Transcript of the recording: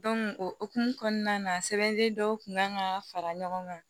o hokumu kɔnɔna na sɛbɛn dɔw kun kan ka fara ɲɔgɔn kan